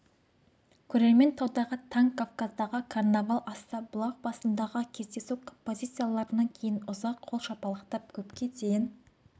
көрермен таудағы таң кавказдағы карнавал асса бұлақ басындағы кездесу композицияларынан кейін ұзақ қол шапалақтап көпке дейін